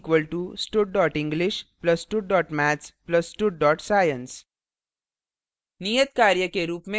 उदाहरण total = stud english + stud maths + stud science;